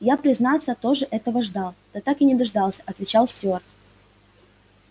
я признаться тоже этого ждал да так и не дождался отвечал стюарт